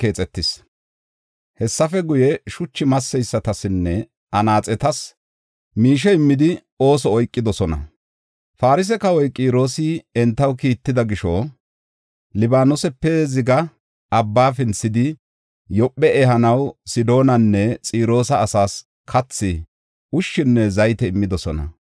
Hessafe guye, shuchu masseysatasinne anaaxetas miishe immidi ooso oykidosona. Farse kawoy Qiroosi entaw kiitida gisho, Libaanoosape ziga abba pinthidi, Yoophe ehanaw Sidoonanne Xiroosa asaas kathi, ushshinne zayte immidosona.